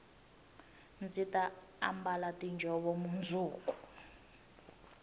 ndzi ta ambala tiinjhovo mundzuku